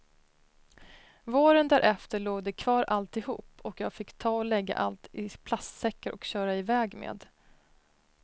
Våren därefter låg det kvar alltihop och jag fick ta och lägga allt i plastsäckar och köra iväg med.